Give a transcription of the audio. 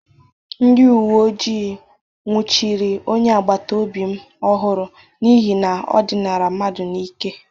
Ndị uwe ojii nwuchiri onye agbataobi m ọhụrụ n'ihi na o dịnara mmadụ n'ike.